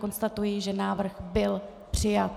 Konstatuji, že návrh byl přijat.